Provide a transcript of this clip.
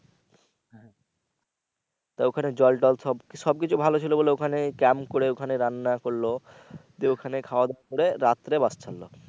তো ওখানে জল টল সব সবকিছু ভালো ছিলো বলে ওখানে ক্যাম্প করে ওখানে রান্না করলো তো ওখানে খাওয়া দাওয়া করে রাত্রে বাস ছাড়লো।